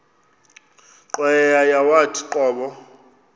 cweya yawathi qobo